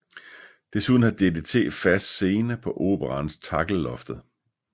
Desuden har DDT fast scene på Operaens Takkellloftet